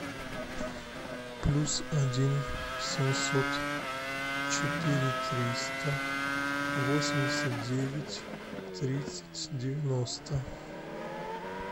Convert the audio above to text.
плюс один семьсот четыре триста восемьдесят девять тридцать девяносто